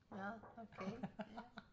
Nåh okay ja